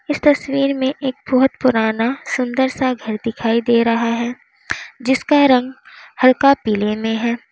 इस तस्वीर में एक बहुत पुराना सुंदर सा घर दिखाई दे रहा है जिसका रंग हल्का पीले में है।